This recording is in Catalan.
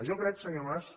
jo crec senyor mas